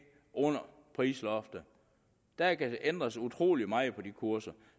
under prisloftet der kan ændres utrolig meget på de kurser